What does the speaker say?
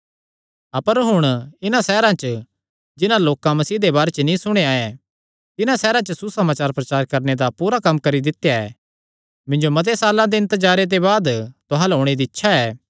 अपर हुण इन्हां सैहरां च जिन्हां लोकां मसीह दे बारे च नीं सुणेया ऐ तिन्हां सैहरां च सुसमाचार प्रचारे दा कम्म पूरा करी दित्या ऐ मिन्जो मते साल्लां दे इन्तजारे दे बाद तुहां अल्ल ओणे दी इच्छा ऐ